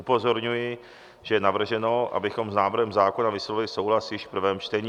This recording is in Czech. Upozorňuji, že je navrženo, abychom s návrhem zákona vyslovili souhlas již v prvém čtení.